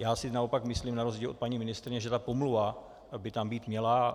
Já si naopak myslím, na rozdíl od paní ministryně, že ta pomluva by tam být měla.